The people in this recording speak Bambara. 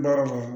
Baara kɔnɔ